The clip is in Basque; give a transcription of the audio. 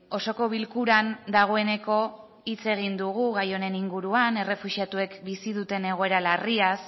osoko bilkuran dagoeneko hitz egin dugu gai honen inguruan errefuxiatuek bizi duten egoera larriaz